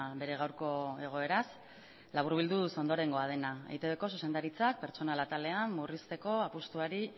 bere gaurko egoeraz laburbilduz ondorengoa dena eitb ko zuzendaritzak pertsonal atalean murrizteko apustuari